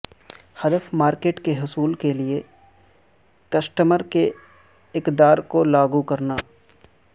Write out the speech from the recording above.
ہدف مارکیٹ کے حصول کے لئے کسٹمر کے اقدار کو لاگو کرنا